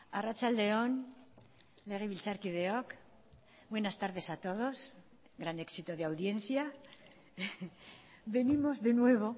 arratsalde on legebiltzarkideok buenas tardes a todos gran éxito de audiencia venimos de nuevo